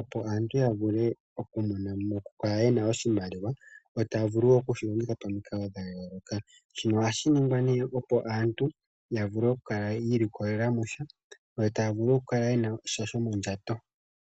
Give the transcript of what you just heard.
opo aantu ya vule oku mona mo, oku kala yena oshimaliwa taya vulu okushi longitha pomikalo dha yooloka, shino ohashi ningwa nee opo aantu ya vule oku kala yiili kolela mo sha yo taya vulu oku kala yena sha shomondjato.